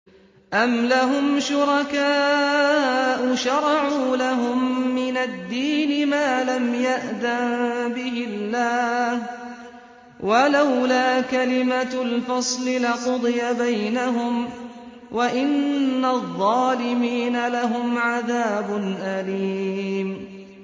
أَمْ لَهُمْ شُرَكَاءُ شَرَعُوا لَهُم مِّنَ الدِّينِ مَا لَمْ يَأْذَن بِهِ اللَّهُ ۚ وَلَوْلَا كَلِمَةُ الْفَصْلِ لَقُضِيَ بَيْنَهُمْ ۗ وَإِنَّ الظَّالِمِينَ لَهُمْ عَذَابٌ أَلِيمٌ